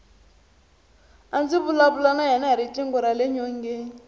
a ndzi vulavula na yena hi riqingho rale nyongeni